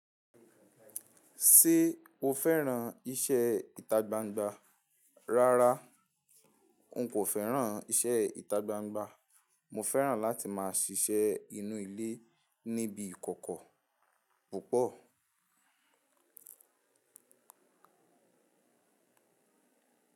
Ṣé o fẹ́ràn iṣẹ́ ìtagbangba? Rárá, n kò fẹ́ràn iṣẹ́ ìtagbangba. Mo fẹ́ràn láti máa ṣiṣẹ́ inú ilé níbi ìkọ̀kọ̀ púpọ̀.